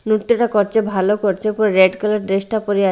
নৃত্যটা করছে ভালো করছে পুরো রেড কালার ড্রেস -টা পরে আ--